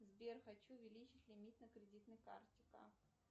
сбер хочу увеличить лимит на кредитной карте как